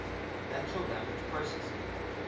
natural language processing